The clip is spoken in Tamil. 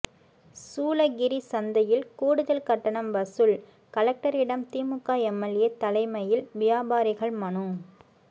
சூளகிரி சந்தையில் கூடுதல் கட்டணம் வசூல் கலெக்டரிடம் திமுக எம்எல்ஏ தலைமையில் வியாபாரிகள் மனு